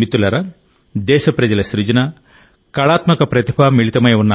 మిత్రులారా దేశ ప్రజల సృజన కళాత్మక ప్రతిభ మిళితమై ఉన్న